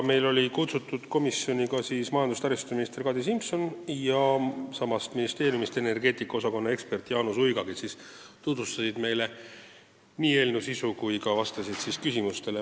Kohale olid kutsutud ka majandus- ja taristuminister Kadri Simson ja sama ministeeriumi energeetika osakonna ekspert Jaanus Uiga, kes tutvustasid meile nii eelnõu sisu kui ka vastasid küsimustele.